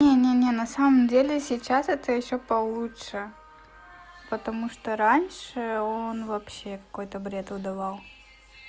нет нет нет на самом деле сейчас это ещё получше потому что раньше он вообще какой-то бред выдавал